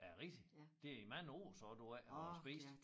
Er det rigtigt det i mange år så du ikke har spist